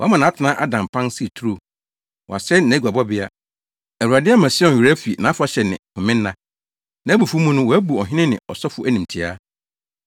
Wama nʼatenae ada mpan sɛ turo; wasɛe nʼaguabɔbea. Awurade ama Sion werɛ afi nʼafahyɛ ne homenna; nʼabufuwhyew mu no wabu ɔhene ne ɔsɔfo animtiaa.